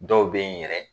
Dɔw bɛ yen yɛrɛ